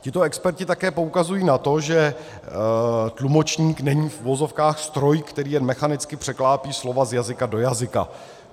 Tito experti také poukazují na to, že tlumočník není, v uvozovkách, stroj, který jen mechanicky překlápí slova z jazyka do jazyka.